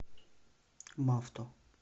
мавто